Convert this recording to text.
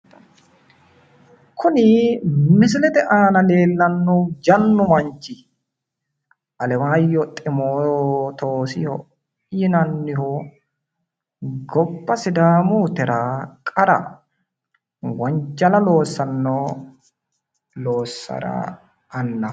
Kuni misilete aana leellannohu jannu manchi Alemaayyo ximootoosiho yinanniho gobba sidaamuyitera wonjala loossanno loossara annaho